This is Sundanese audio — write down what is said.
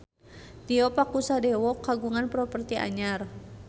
Tio Pakusadewo kagungan properti anyar